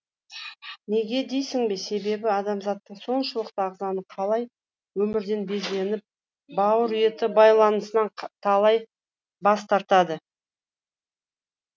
неге дейсің бе себебі адамзаттың соншалықты ағзаны қалай өмірден безініп бауыр еті баласынан талай бас тартады